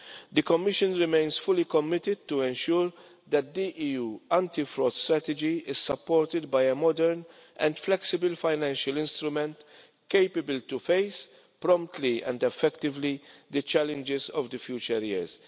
The Commission remains fully committed to ensuring that the EU anti fraud strategy is supported by a modern and flexible financial instrument capable of facing, promptly and effectively, the challenges of future years.